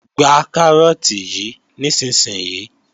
Gba Kárọ́ọ̀tì yí nísinsìnyí!